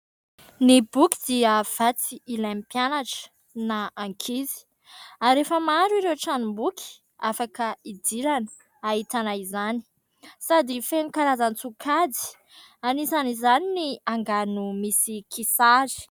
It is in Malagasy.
Ny boky dia vatsy ilain'ny mpianatra na ankizy ary rehefa maro ireo tranomboky afaka idirana ahitana izany sady feno karazan-tsokajy anisan'izany ny angano misy kisary.